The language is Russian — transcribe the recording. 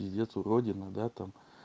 пиздец уродина да там